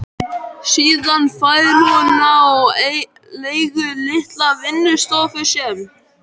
Síðan fær hún á leigu litla vinnustofu sem